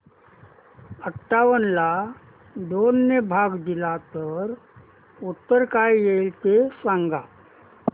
अठावन्न ला दोन ने भाग दिला तर उत्तर काय येईल ते सांगा